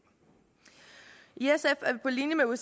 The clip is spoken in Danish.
på linje med